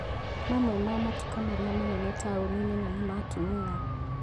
Mamwe ma matuka marĩa manene taũni nene nĩ ma atumia